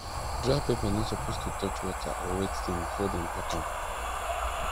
dry pepper no suppose to touch water or wet thing before dem pack am